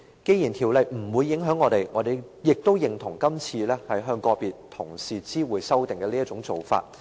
雖然《條例草案》不會影響我們，我們亦認同今次向個別同事知會修訂的做法。